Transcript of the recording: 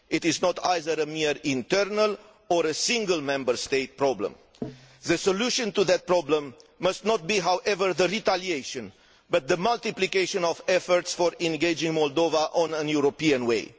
It is not a mere internal or a single Member State problem. However, the solution to that problem must not be retaliation but the multiplication of efforts for engaging Moldova on a European way.